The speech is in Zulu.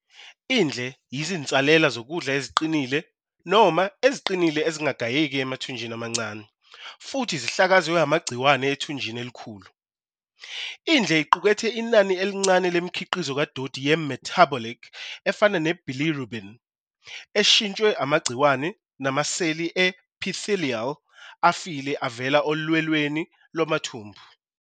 Indle yizinsalela zokudla eziqinile noma eziqinile ezingagayeki emathunjini amancane, futhi zihlakazwe amagciwane ethunjini elikhulu. Indle iqukethe inani elincane lemikhiqizo kadoti ye-metabolic efana ne-bilirubin eshintshwe amagciwane, namaseli e-epithelial afile avela olwelweni lwamathumbu.